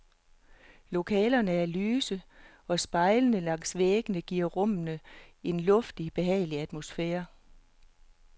Lokalerne er lyse, og spejlene langs væggene giver rummene en luftig, behagelig atmosfære.